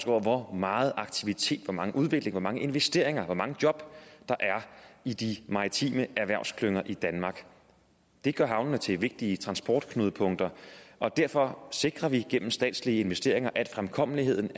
over hvor meget aktivitet hvor meget udvikling hvor mange investeringer hvor mange job der er i de maritime erhvervsklynger i danmark det gør havnene til vigtige transportknudepunkter og derfor sikrer vi gennem statslige investeringer at fremkommeligheden